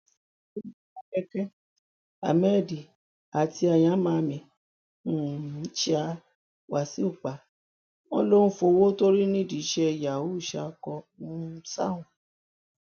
ní módékeké hammed àti ayamami um ṣa wasu pa wọn ló ń fọwọ tó rí nídìí iṣẹ yahoo ṣáko um sáwọn